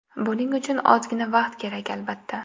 Buning uchun ozgina vaqt kerak, albatta.